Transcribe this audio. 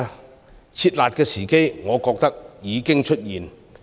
我認為"撤辣"的時機已經出現。